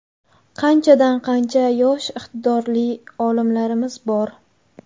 Qanchadan-qancha yosh iqtidorli olimlarimiz bor.